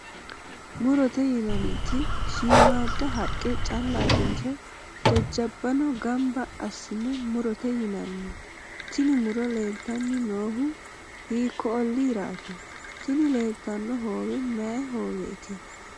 murote yinanniti shiimmaadda haqqe callatenso jajjabbano gamba assine murote yinanni? tini muro leeltanni noohu hiikko olliiraati? tini leeltanno hoowe mayii hooweeti?